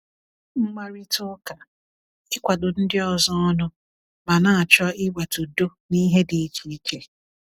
Mkparịta ụka—ịkwado ndị ọzọ ọnụ ma na-achọ iweta udo n’ihe dị iche iche.